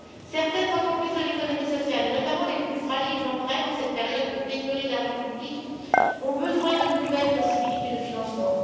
Certaines entreprises de l'économie sociale, notamment les plus fragiles d'entre elles, en cette période de pénurie d'argent public, ont besoin de nouvelles possibilités de financement.